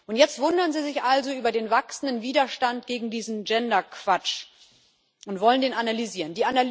Und jetzt wundern Sie sich also über den wachsenden Widerstand gegen diesen Gender Quatsch und wollen den analysieren.